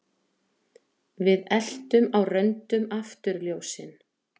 Við eltum á röndum afturljósin